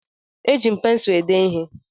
E ji m pensụ èdé ihé